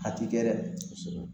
A ti kɛ dɛ